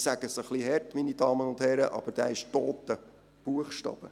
Ich sage es etwas hart, meine Damen und Herren, aber dieser ist toter Buchstabe.